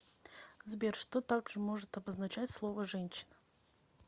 сбер что также может обозначать слово женщина